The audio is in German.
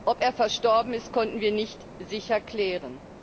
Ob er verstorben ist, konnten wir nicht sicher klären.